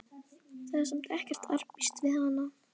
Það er samt ekkert arabískt við hann.